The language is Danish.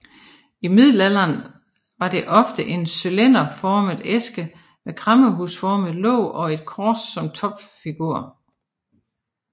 I middelalderen var det ofte en cylinderformet æske med kræmmerhusformet låg og et kors som topfigur